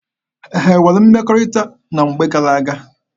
Ha nwere mmekọrịta na mgbe gara-aga?